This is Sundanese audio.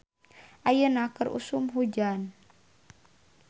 Ayeuna keur usum hujan